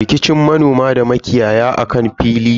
Rikicin manoma da makiyaya akan fili ne.